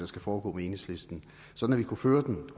skal foregå med enhedslisten sådan at vi kunne føre den